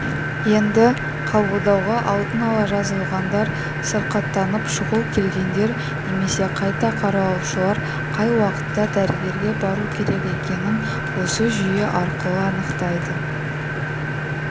енді қабылдауға алдын ала жазылғандар сырқаттанып шұғыл келгендер немесе қайта қаралушылар қай уақытта дәрігерге бару керек екенін осы жүйе арқылы анықтайды